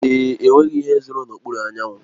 Èé, enweghị ihe zòro n'okpuru anyanwụ.